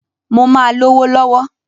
Mó máa lówó lọ̀wọ̀.